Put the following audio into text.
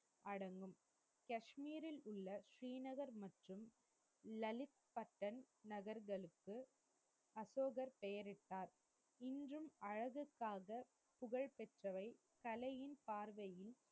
அடங்கும். கஷ்மீரில் உள்ள ஸ்ரீநகர் மற்றும் லலித் பத்தன் நகர்களுக்கு அசோகர் பெயரிட்டார். இன்றும் அழகுக்காக புகழ்பெற்றவை. கலையின் பார்வையில்,